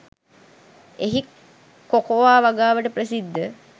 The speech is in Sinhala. එහි කොකෝව වගාව ට ප්‍රසිද්ධ